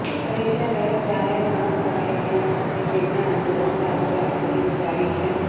પરીક્ષા રદ જાહેર ન કરાય ત્યાં સુધી તેમણે આંદોલન ચાલુ રાખવાની ઉચ્ચારી છે